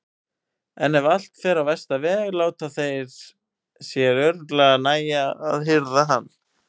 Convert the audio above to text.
En ef allt fer á versta veg láta þeir sér örugglega nægja að hirða hann.